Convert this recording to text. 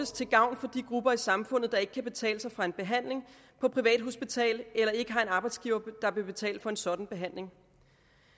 til gavn for de grupper i samfundet der ikke kan betale sig fra en behandling på et privathospital eller ikke har en arbejdsgiver der vil betale for en sådan behandling